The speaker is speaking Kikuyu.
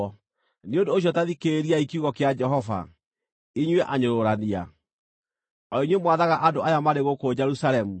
Nĩ ũndũ ũcio ta thikĩrĩriai kiugo kĩa Jehova, inyuĩ anyũrũrania, o inyuĩ mwathaga andũ aya marĩ gũkũ Jerusalemu.